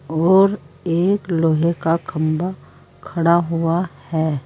और एक लोहे का खम्बा खड़ा हुआ है।